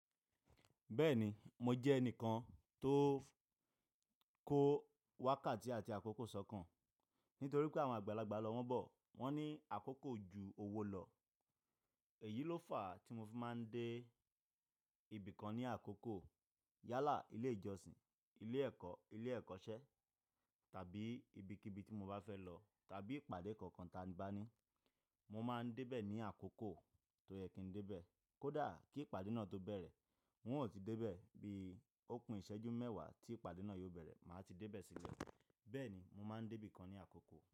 Bẹ́ẹ̀ni, mo jẹ́ ẹnìkan tó kó wákàtí àti àkókò sọ́kàn nítorí pé àwọn àgbàlagbà lọ wọ́n bọ̀ wọ́n ní àkókò ju owó lọ. Èyí ló fà á tí mo fi máa ń dé ibìkan ní àkókò. Yálà, ilé ìjọsìn, ilé ẹ̀kọ́, ilé ẹ̀kọ́ṣẹ́ tàbí ibikíbi tí mo bá fẹ́ lọ tàbí ìpàdé kankan tí a bá ní. Mo máa ń dé bẹ̀ ní àkókò tó yẹ kí n dé bẹ̀. Kódà kí ìpàdé náà tó bẹ̀rẹ̀, ng ò ti dé bẹ̀ bíi ò kun ìṣẹ́jú mẹ́wàá tí ìpàdé náà yóò bẹ̀rẹ̀ máa ti dé bẹ̀ sílẹ̀. Bẹ́ẹ̀ni, mo máa ń dé ibìkan ní àkókò.